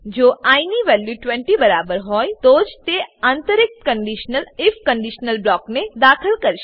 જો આઇ ની વેલ્યુ 20 બરાબર હોય તો જ તે આંતરિક કંડીશનલ આઇએફ કંડીશનલ બ્લોકને દાખલ કરશે